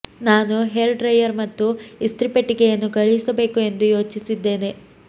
ನಾನು hair dryer ಮತ್ತು ಇಸ್ತ್ರಿ ಪೆಟ್ಟಿಗೆಯನ್ನು ಕಳುಹಿಸಬೇಕು ಎಂದು ಯೋಚಿಸಿದ್ದೇನೆ